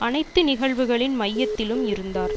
அனைத்து நிகழ்வுகளின் மையத்திலும் இருந்தார்